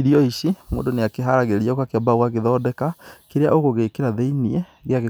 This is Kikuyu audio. Irio ici mũndũ nĩakĩharagĩria ũgakĩamba ũgathondeka kĩrĩa ũgũgĩkĩra thĩiniĩ